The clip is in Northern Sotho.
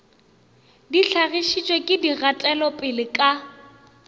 di hlagišitšwego ke dikgatelopele ka